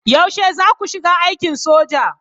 Yaushe zaku shiga aikin soja?